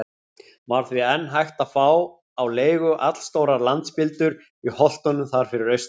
Var því enn hægt að fá á leigu allstórar landspildur í holtunum þar fyrir austan.